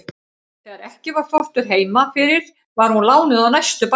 Þegar ekki var þvottur heima fyrir var hún lánuð á næstu bæi.